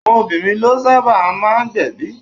Àwọn obìnrin ló sábà máa gbẹ̀bi.